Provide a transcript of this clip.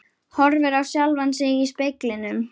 Horfir á sjálfan sig í speglinum.